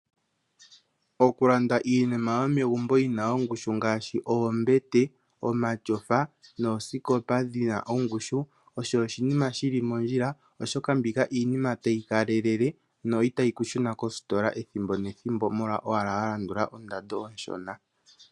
Oku landa iinima yomegumbo yina ongushu ngaashi oombete, omatyofa noosikopa dhina ongushu osho oshinima shili mondjila oshoka mbika iinima tayi ka lelelele no itayi ku shuna kositola ethimbo nethimbo molwa owala wa landula ondando onshona.